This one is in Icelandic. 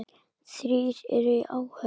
Þrír eru í áhöfn.